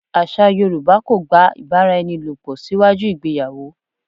Àṣà Yorùbá kò gba ìbáraẹnilòpò síwájú ìgbéyàwó.